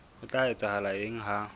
ho tla etsahala eng ha